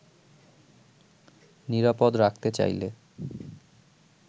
নিরাপদ রাখতে চাইলে